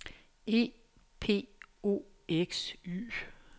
E P O X Y